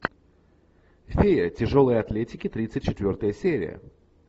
фея тяжелой атлетики тридцать четвертая серия